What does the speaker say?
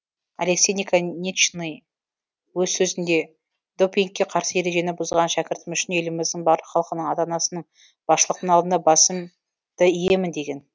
алексей наконечный өз сөзінде допингке қарсы ережені бұзған шәкіртім үшін еліміздің барлық халқының ата анасының басшылықтың алдында басым ды иемін деген